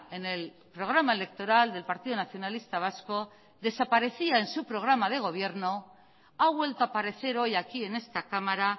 en el programa electoral del partido nacionalista vasco desaparecía en su programa de gobierno ha vuelto a aparecer hoy aquí en esta cámara